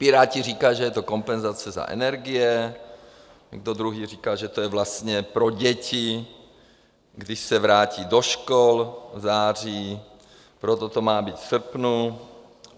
Piráti říkají, že to je kompenzace za energie, někdo druhý říká, že to je vlastně pro děti, když se vrátí do škol v září, proto to má být v srpnu.